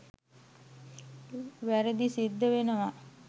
වැරදිසිද්ද වෙනවා.